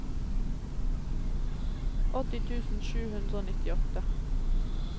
åtti tusen sju hundre og nittiåtte